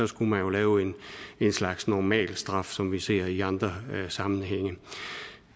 skulle man lave en slags normalstraf som vi ser i andre sammenhænge